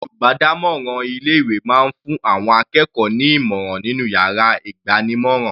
Olùbádámọ̀ràn ilé ìwé máa fún àwọn akẹ́kọ̀ọ́ ní ìmọ̀ràn nínú yàrá ìgbanímọ̀ràn.